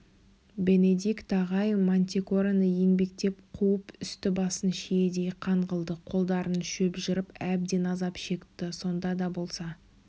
бенедикт ағай мантикораны еңбектеп қуып үсті-басын шиедей қан қылды қолдарын шөп жырып әбден азап шекті сонда да болса